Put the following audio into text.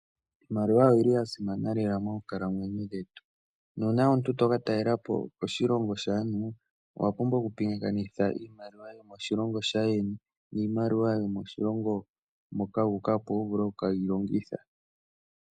Iimaliwa oyili ya simana lela moonkalamwenyo dhetu, nuuna omuntu to katalelapo koshilongo shaantu, owa pumbwa oku pingakanitha iimaliwa yomoshilongo shaayeni niimaliwa yomoshilongo moka wu uka, opo wu vule oku keyilongitha.